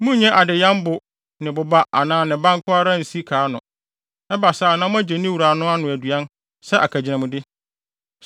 Monnnye adeyam bo ne ne boba anaa ne ba no nko ara nsi ka ano, ɛba saa a na moagye ne wura no ano aduan sɛ akagyinamde.